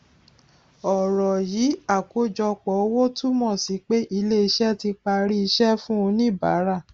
ọrọ yìí àkọjọpọ owó túmọ sí pé ilé iṣẹ tí parí iṣẹ fún oníbàárà